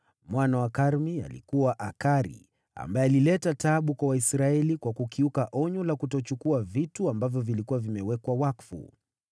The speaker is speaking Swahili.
Mwana wa Karmi alikuwa: Akari, ambaye alileta taabu kwa Waisraeli kwa kukiuka onyo la kutokuchukua vitu vilivyokuwa vimewekwa wakfu.